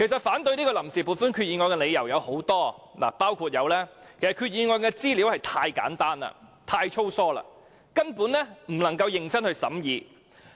反對這項臨時撥款決議案的理由實在太多，包括決議案的資料太簡單、太粗疏，根本無法認真審議。